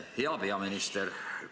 Hea peaminister!